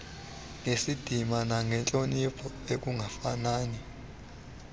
ngesidima nangentloniphi ekungafanini